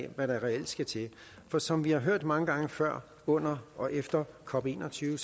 af hvad der reelt skal til for som vi har hørt mange gange før under og efter cop21